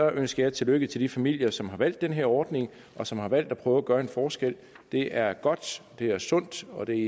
ønsker jeg tillykke til de familier som har valgt den her ordning og som har valgt at prøve at gøre en forskel det er godt det er sundt og det